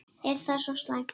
Er það svo slæmt?